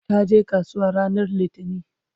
taje kasuwa ranar littani